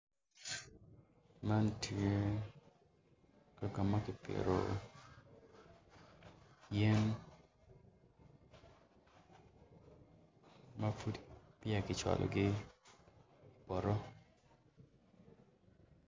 Man tye kaka ma kipito yen ma pud peya kicwalogi i poto.